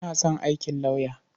Ina son aikin lauyer.